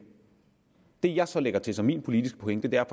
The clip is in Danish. det jeg så lægger til som min politiske pointe er